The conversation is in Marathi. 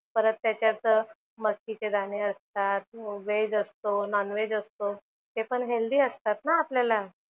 परत त्याच्यात मस्तीचे दाणे असतात. व्हेज असतो, नॉन-व्हेज असतो. ते पण हेल्दी असतात ना आपल्याला.